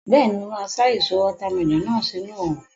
Bẹ́ẹ̀ni, mo máa sá èso watermelon náà sínu òrùn